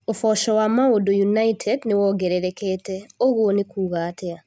(Mbica) ũboco wa Maũndũ United nĩ wongererekete, ũguo nĩ kuuga atĩa ?